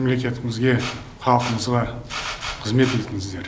мемлекетімізге халқымызға қызмет етіңіздер